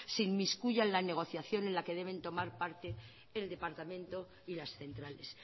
se inmiscuya en la negociación en la que deben tomar parte el departamento y las centrales